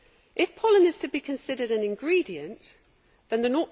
If pollen is to be considered an ingredient', then the